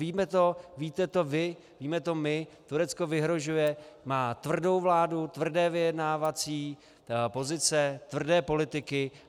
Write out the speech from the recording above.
Víme to, víte to vy, víme to my, Turecko vyhrožuje, má tvrdou vládu, tvrdé vyjednávací pozice, tvrdé politiky.